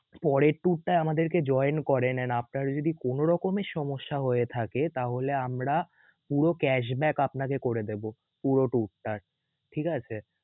পরের tour টায় আমাদেরকে join করেন and আপনারা যদি কোন রকমের সমস্যা হয়ে থাকে তাহলে আমরা পুরো cash back আপনাকে করে দেবো পুরো tour তার ঠিক আছে